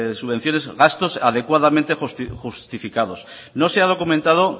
subvenciones gastos adecuadamente justificados no se ha documentado